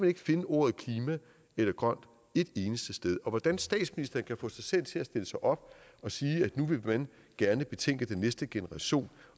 ikke finde ordet klima eller grønt et eneste sted hvordan kan statsministeren få sig selv til at stille sig op og sige at nu vil man gerne betænke den næste generation